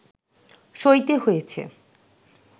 সইতে হয়েছে